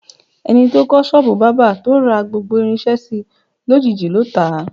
E̩ni tó kó̩ s̩ó̩ò̩bù bábà, tó ra gbogbo irins̩é̩ si, lójiijì ló tà á.